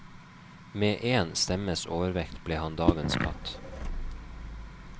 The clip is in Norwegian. Med én stemmes overvekt ble han dagens katt.